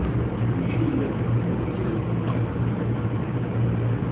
включи лектор фо кей